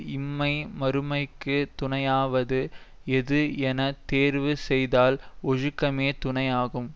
இம்மை மறுமைக்கு துணையாவது எது என தேர்வு செய்தால் ஒழுக்கமே துணையாகும்